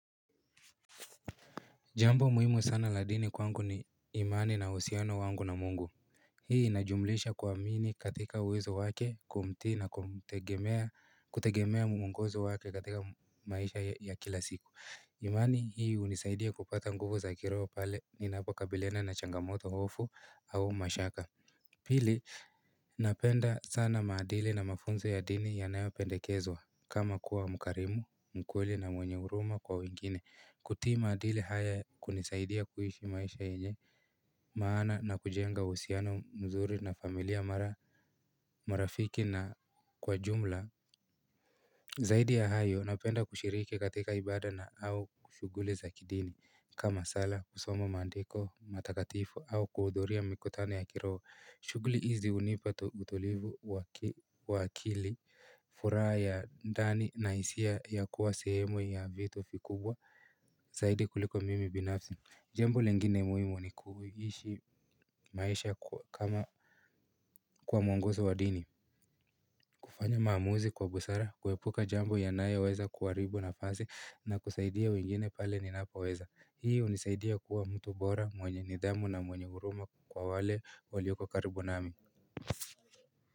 Jambo muhimu sana la dini kwangu ni imani na usiano wangu na mungu Hii inajumlisha kwa mini katika uwezo wake kumti na kutegemea muongozo wake katika maisha ya kila siku imani hii unisaidia kupata nguvu za kiroo pale ninapakabiliana na changamoto ofu au mashaka Pili napenda sana maadili na mafunzo ya dini ya nayo pendekezwa kama kuwa mkarimu mkweli na mwenye uruma kwa wengine kutii maadili haya kunisaidia kuishi maisha yenye maana na kujenga usiano mzuri na familia mara marafiki na kwa jumla Zaidi ya hayo napenda kushiriki katika ibada na au kushuguli za kidini kama sala kusomo maandiko matakatifu au kuudhuria mikutano ya kiroo shugli izi unipa utulivu wakili furaa ya ndani na isia ya kuwa sehemu ya vitu vikubwa zaidi kuliko mimi binafsi Jembo lengine muimu ni kuhishi maisha kama kwa mwongozo wa dini kufanya maamuzi kwa busara kuhepuka jambo ya naya weza kuwaribu na fasi na kusaidia wengine pale ninapo weza hii unisaidia kuwa mtu bora mwenye nidhamu na mwenye uruma kwa wale walioko karibu nami.